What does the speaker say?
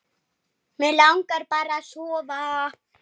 Mig langar bara að sofa.